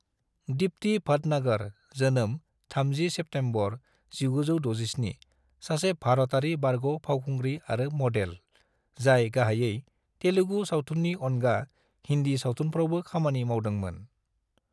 दीप्ति भाटनागर (जोनोम 30 सेप्तेम्बर 1967) सासे भारतारि बारग' फावखुंग्रि आरो मडेल, जाय गाहायै तेलुगु सावथुननि अनगा हिन्दी सावथुनफ्रावबो खामानि मावदोंमोन।